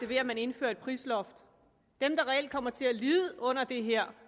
ved at man indfører et prisloft dem der reelt kommer til at lide under det her